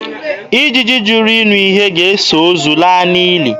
Ijiji jụrụ ịnụ ihe ga-eso ozu laa n'ili.